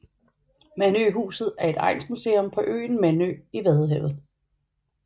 Mandøhuset er et egnsmuseum på øen Mandø i vadehavet